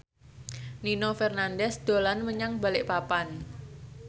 Nino Fernandez dolan menyang Balikpapan